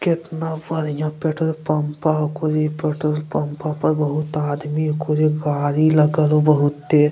केतना बढ़िया petrol pump पर होखु इ पेट्रोल पंप पर बहुत आदमी हेय पूरे गाड़ी लगल हउ बहुते।